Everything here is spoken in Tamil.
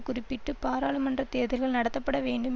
குறிப்பிட்டு பாராளுமன்ற தேர்தல்கள் நடத்தப்பட வேண்டும்